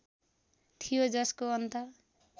थियो जसको अन्त